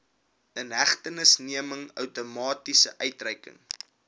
inhegtenisneming outomaties uitgereik